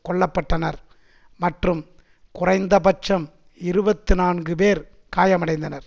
கொல்ல பட்டனர் மற்றும் குறைந்த பட்சம் இருபத்தி நான்கு பேர் காயம் அடைந்தனர்